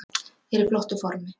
Er í flottu formi.